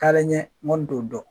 Talen ɲɛ n kɔni to dɔn.